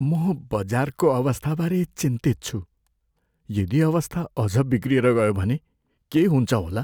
म बजारको अवस्थाबारे चिन्तित छु। यदि अवस्था अझ बिग्रिएर गयो भने के हुन्छ होला?